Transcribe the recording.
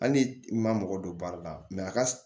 Hali ni i ma mɔgɔ don baara la a ka